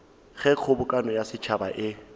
ge kgobokano ya setšhaba e